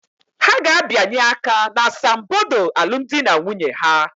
Ha ga-abịanye aka n'asambodo alụmdi na nwunye ha.